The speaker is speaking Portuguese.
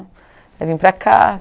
Aí vim para cá.